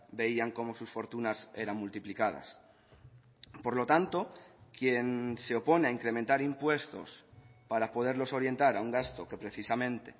veían como sus fortunas eran multiplicadas por lo tanto quien se opone a incrementar impuestos para poderlos orientar a un gasto que precisamente